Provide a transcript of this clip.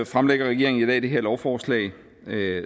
fremlægger regeringen i dag det her lovforslag